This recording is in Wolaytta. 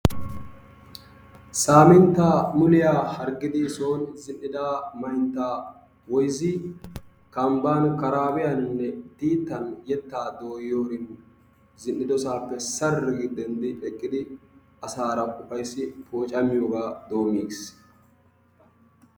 Samintta muliyaa harggidi soon zin'ida mantta woyzzi kambban, karabbiyanine dittan yetta dooyiyorin zin'idosappe saari gi denddi eqqidi asaara ufayssi wocami dommigiis.